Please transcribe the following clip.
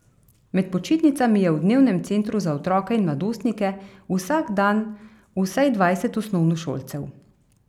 Med počitnicami je v dnevnem centru za otroke in mladostnike vsak dan vsaj dvajset osnovnošolcev.